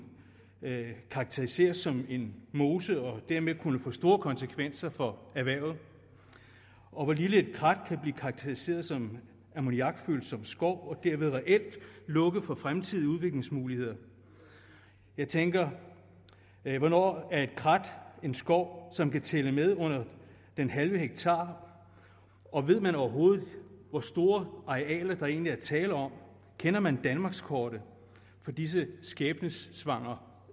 karakteriseres som en mose og dermed kunne få store konsekvenser for erhvervet og hvor lille et krat kan blive karakteriseret som ammoniakfølsom skov og dermed reelt lukke for fremtidige udviklingsmuligheder jeg tænker hvornår er et krat en skov som kan tælle med under den halve hektar og ved man overhovedet hvor store arealer der egentlig er tale om kender man danmarkskortet for disse skæbnesvangre